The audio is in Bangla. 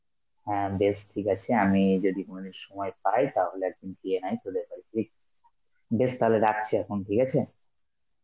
হ্যাঁ বেশ ঠিক আছে, আমি যদি কোনদিন সময় পাই তাহলে একদিন জিয়া নয় তোদের বাড়ি , বেশ তাহলে রাখছি এখন ঠিক আছে?